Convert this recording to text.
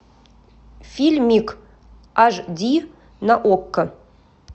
фильмик аш ди на окко